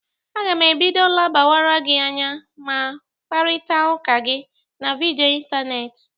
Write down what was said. Aga m ebido lebawara gị anya na mkparịtaụka gị na vidịo ịntanetị.